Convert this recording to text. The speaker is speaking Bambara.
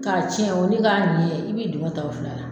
K'a tiɲɛ o ni k'a ɲɛ i b'i duŋɔ ta o fila la.